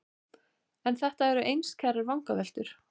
En þetta eru einskærar vangaveltur.